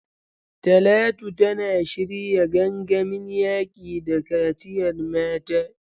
Talatu tana shirya gangamin yaƙi da kaciyar mata.